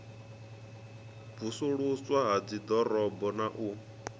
vusuluswa ha dziḓorobo na u